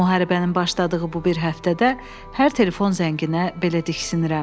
Müharibənin başladığı bu bir həftədə hər telefon zənginə belə diksinirəm.